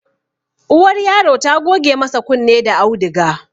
Uwar yaro ta goge masa kunne da auduga